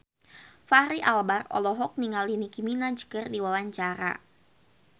Fachri Albar olohok ningali Nicky Minaj keur diwawancara